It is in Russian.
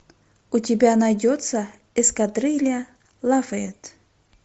у тебя найдется эскадрилья лафайет